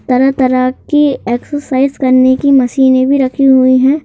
तरह-तरह की एक्सरसाइज करने की मशीनें भी रखी हुई हैं।